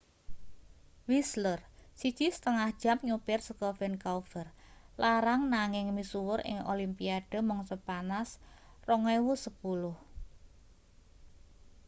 whistler 1,5 jam nyupir saka vancouver larang nanging misuwur ing olimpiade mangsa panas 2010